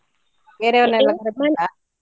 ಬೇರೆ ಅವ್ರನ್ನೆಲ್ಲ ಕರ್ದ್ ಆಯ್ತಾ?